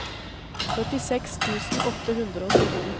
førtiseks tusen åtte hundre og sytten